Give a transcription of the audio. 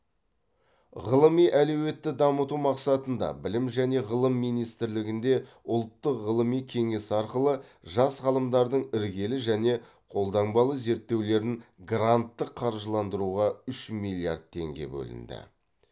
ғылыми әлеуетті дамыту мақсатында білім және ғылым министрлігінде ұлттық ғылыми кеңес арқылы жас ғалымдардың іргелі және қолданбалы зерттеулерін гранттық қаржыландыруға үш миллиард теңге бөлінді